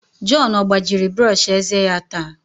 John ọ gbajiri brọsh eze ya taa?